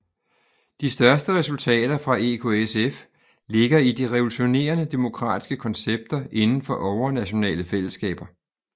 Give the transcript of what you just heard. De største resultater fra EKSF ligger i de revolutionerende demokratiske koncepter inden for overnationale fællesskaber